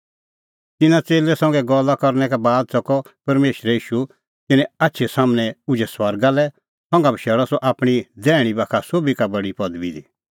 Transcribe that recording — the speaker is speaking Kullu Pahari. तिन्नां च़ेल्लै संघै गल्ला करनै का बाद च़कअ परमेशरै ईशू तिन्नें आछी सम्हनै उझै स्वर्गा लै संघा बशैल़अ सह आपणीं दैहणीं बाखा सोभी का बडी पदबी दी